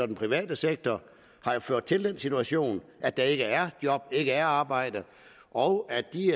den private sektor har ført til den situation at der ikke er job at ikke er arbejde og at de